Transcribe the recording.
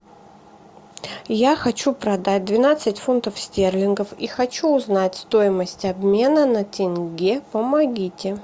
я хочу продать двенадцать фунтов стерлингов и хочу узнать стоимость обмена на тенге помогите